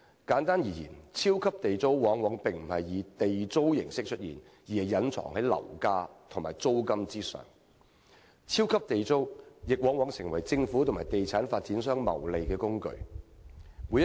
簡單而言，"超級地租"並非以地租形式出現，而是隱藏在樓價和租金之中；"超級地租"亦往往成為政府和地產發展商謀利的工具。